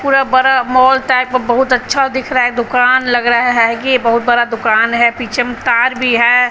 पूरा बड़ा mall type का बहुत अच्छा दिख रहा है दुकान लग रहा है ये बहुत बड़ा दुकान है पीछे में तार भी है।